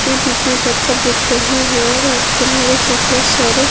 बीच - बीच में पत्थर दिख रहे है और किनारे में बहुत सारे --